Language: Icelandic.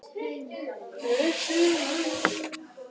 Gríma, hvað er opið lengi á laugardaginn?